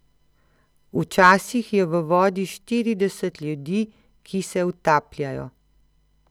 Včasih je v vodi štirideset ljudi, ki se utapljajo.